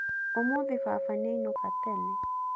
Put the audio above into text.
Ũmũthĩ baba nĩainũka tene.